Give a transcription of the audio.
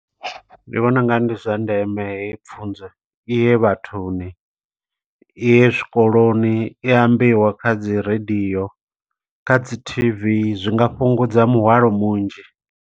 Ndi vhona ungari ndi zwa ndeme heyi pfunzo, iye vhathuni, i ye zwikoloni. I ambiwe kha dzi radio, kha dzi T_V, zwi nga fhungudza muhwalo munzhi.